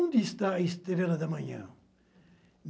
Onde está a estrela da manhã?